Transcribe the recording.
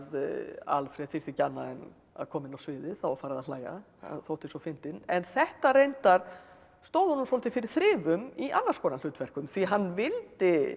Alfred þyrfti ekki annað en að koma inn á sviðið þá var farið að hlæja hann þótti svo fyndinn en þetta reyndar stóð honum svolítið fyrir þrifum í annars konar hlutverkum því hann vildi